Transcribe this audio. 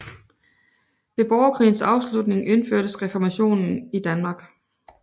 Ved borgerkrigens afslutning indførtes Reformationen i Danmark